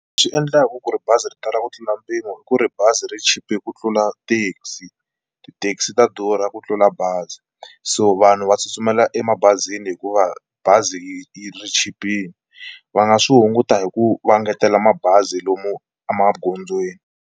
Leswi endlaka ku ri bazi ri tala ku tlula mpimo i ku ri bazi ri chipe ku tlula taxi, ti-taxi ta durha ku tlula bazi, so vanhu va tsutsumela emabazini hikuva bazi ri chipile va nga swi hunguta hi ku va engetela mabazi lomu emagondzweni.